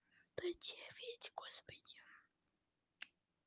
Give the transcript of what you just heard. дай девять господи